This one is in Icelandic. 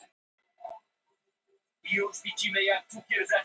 Besti varnarmaðurinn hætti í fjögur ár